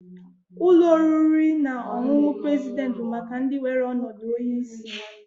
Ụlọ oriri na ọṅụṅụ president bụ maka ndị nwere ọnọdụ onye isi.